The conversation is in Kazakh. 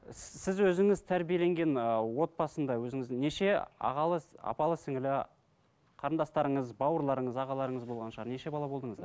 сіз өзіңіз тәрбиеленген ыыы отбасында өзіңіздің неше ағалы апалы сіңілі қарындастарыңыз бауырларыңыз ағаларыңыз болған шығар неше бала болдыңыздар